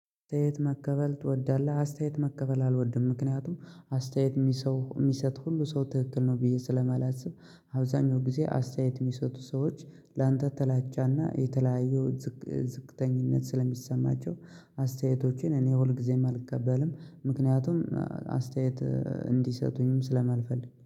አስተያየት መቀበል ትወዳለህ አስተያየት መቀበል አልወድም ምክንያቱም አስተያየት ሚሰውየሚሰጥ ሁሉ ሰው ትክክል ነው ብዬ ስለማላስብ። አብዛኛው ጊዜ አስተያየት የሚሰጡ ሰዎች። ላንተ ጥላቻና የተለያዩ ዝቅ ዝቅተኝነት ስለሚሰማቸው። አስተያየቶችን እኔ ሁልጊዜም አልቀበልም። ምክንያቱም አስተያየት እንዲሰጡኝም ስለማልፈልግ